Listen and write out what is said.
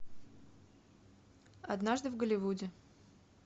однажды в голливуде